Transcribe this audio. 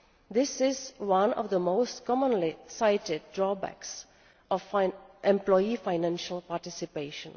This is one of the most commonly seen drawbacks of employee financial participation.